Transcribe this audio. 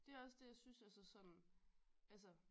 Det også det jeg synes er så sådan altså